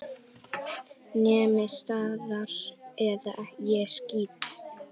Nemið staðar eða ég skýt!